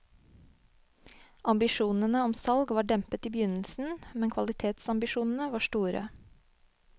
Ambisjonene om salg var dempet i begynnelsen, men kvalitetsambisjonene var store.